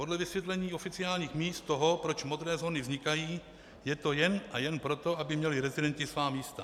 Podle vysvětlení oficiálních míst toho, proč modré zóny vznikají, je to jen a jen proto, aby měli rezidenti svá místa.